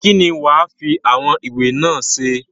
kín ni wàá fi àwọn ìwé náà ṣe?